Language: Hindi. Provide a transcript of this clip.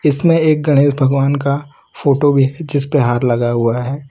इसमें एक गणेश भगवान का फोटो भी है जिस पे हार लगा हुआ है।